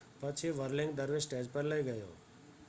પછી વર્લિંગ દરવીશ સ્ટેજ પર લઈ ગયો